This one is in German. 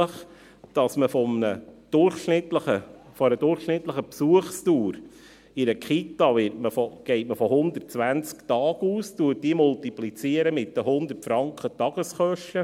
Man geht bei einer Kita nämlich von einer durchschnittlichen Besuchsdauer von 120 Tagen aus und multipliziert diese mit 100 Franken Tageskosten.